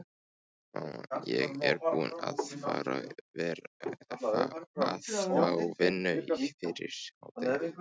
Mamma, ég er búinn að fá vinnu fyrir hádegi.